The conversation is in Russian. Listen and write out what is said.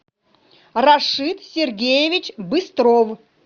рашид сергеевич быстров